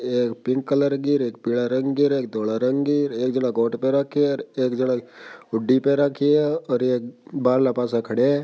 ये एक pink colour की एक पिला रंग की रे एक धोळा रंग की और एक जन कोट पेर रखी है एक जन हुडी और एक बारले पासे खड़ा है।